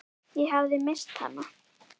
Ég hafði misst hana.